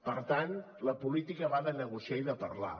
per tant la política va de negociar i de parlar